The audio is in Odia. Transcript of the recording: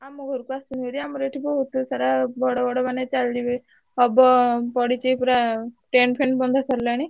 ଆମ ଘରକୁ ଆସୁନୁ ଭାରି ଆମର ଏଠି ବହୁତ ପଇସାରେ ମାନେ ବଡ ବଡ ମାନେ ଚାଲିବେ ହବ ପଡିଛି ପୁରା tent ଫେଣ୍ଡ ବନ୍ଧା ସରିଲାଣି।